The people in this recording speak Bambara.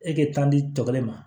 E kɛ tan di tɔ kelen ma